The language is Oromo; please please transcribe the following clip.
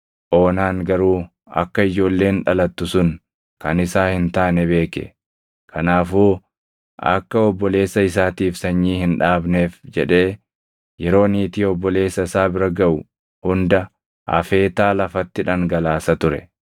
Oonaan garuu akka ijoolleen dhalattu sun kan isaa hin taane beeke; kanaafuu akka obboleessa isaatiif sanyii hin dhaabneef jedhee yeroo niitii obboleessa isaa bira gaʼu hunda afeetaa lafatti dhangalaasa ture.